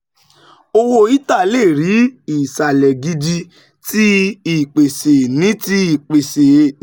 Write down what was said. Owo Ether le ri isalẹ gidi ti ipese ni ti ipese ni